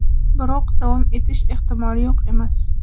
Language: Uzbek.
Biroq davom etish ehtimoli yo‘q emas.